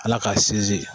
Ala k'a sinsin